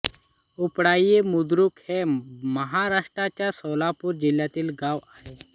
उपळाई बुद्रुक हे महाराष्ट्राच्या सोलापूर जिल्ह्यातील गाव आहे